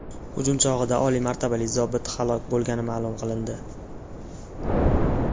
Hujum chog‘ida oliy martabali zobit halok bo‘lgani ma’lum qilindi .